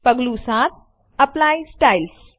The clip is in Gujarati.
પગલું ૭Apply સ્ટાઇલ્સ